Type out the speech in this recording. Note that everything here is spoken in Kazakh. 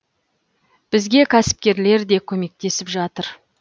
бізге кәсіпкерлер де көмектесіп жатыр